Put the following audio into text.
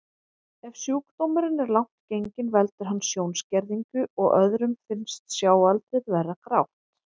Ef sjúkdómurinn er langt genginn veldur hann sjónskerðingu og öðrum finnst sjáaldrið vera grátt.